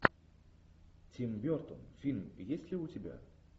тим бертон фильм есть ли у тебя